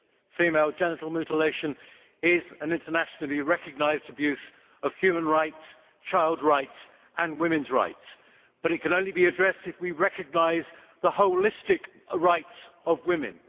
Female genital mutilation is an internationally recognised abuse of human rights, child rights and women's rights, but it can only be addressed if we recognise the holistic rights of women.